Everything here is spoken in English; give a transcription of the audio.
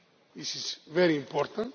This is very important.